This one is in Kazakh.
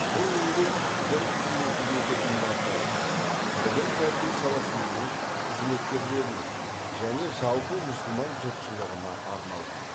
бұл еңбек дін қызметіндегі имамдарға білім тәрбие саласының қызметкерлеріне және жалпы мұсылман жұртшылығына арналған